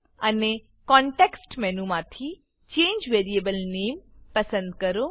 અને કોનટેક્સ્ટ મેનુમાંથી change variable નામે ચેન્જ વેરીએબલ નેમ પસંદ કરો